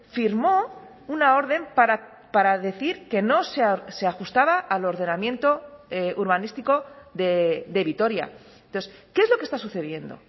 firmó una orden para decir que no se ajustaba al ordenamiento urbanístico de vitoria entonces qué es lo que está sucediendo